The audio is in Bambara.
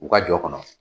U ka jɔ kɔnɔ